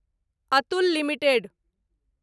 Atul limited